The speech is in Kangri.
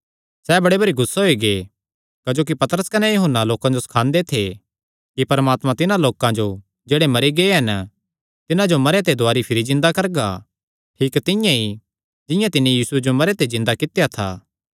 सैह़ बड़े भरी गुस्से होई गै क्जोकि पतरस कने यूहन्ना लोकां जो सखांदे थे कि परमात्मा तिन्हां लोकां जो जेह्ड़े मरी गै हन तिन्हां जो मरेयां ते दुवारी भिरी जिन्दा करगा ठीक तिंआं ई जिंआं तिन्नी यीशुये जो मरेयां ते जिन्दा कित्या था